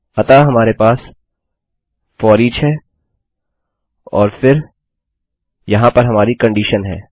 अतः हमारे पास फोरिच है और फिर यहाँ पर हमारी कंडीशन है